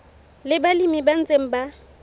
le balemi ba ntseng ba